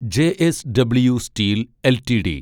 JSW steel LTD